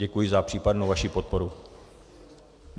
Děkuji za případnou vaši podporu.